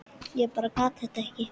Ég bara gat þetta ekki.